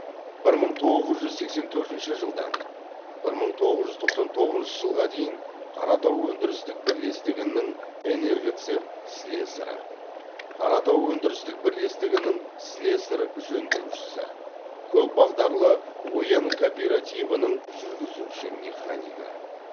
бір мың тоғыз жүз сексен төртінші жылдан бір мың тоғыз жүз тоқсан тоғызыншы жылға дейін қаратау өндірістік бірлестігінің энергоцех слесарі қаратау өндірістік бірлестігінің слесарь жөндеушісі көпбағдарлы оян кооперативінің жүргізуші механигі